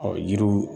Ɔ yiriw